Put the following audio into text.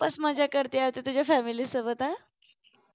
खूपच मज्जा करते आता तुझ्या family सोबत हा